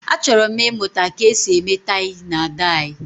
achoro m imuta ka esi eme tai na dai